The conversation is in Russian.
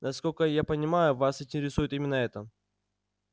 насколько я понимаю вас интересует именно это